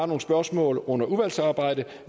nogle spørgsmål under udvalgsarbejdet